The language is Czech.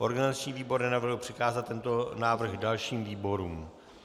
Organizační výbor nenavrhl přikázat tento návrh dalším výborům.